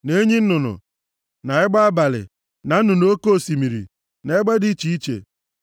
na enyi nnụnụ, na egbe abalị, na nnụnụ oke osimiri, na egbe dị iche iche,